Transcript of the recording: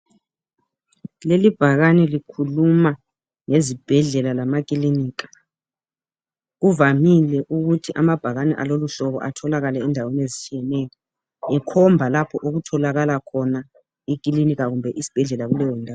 Leli bhakani likhuluma ngezibhedlela lamakilinika. Kuvamile ukuthi amabhakani alelohlobo atholakale endaweni ezitshiyeneyo. Likhomba lapho ukutholakala khona ekilinika kumbe esibhedlela kuleyo ndawo.